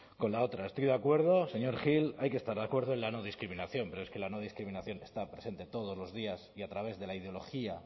con la otra estoy de acuerdo señor gil hay que estar acuerdo en la no discriminación pero es que la no discriminación está presente todos los días y a través de la ideología